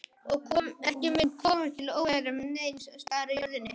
Og ekki mun koma til óeirða neins staðar á jörðinni.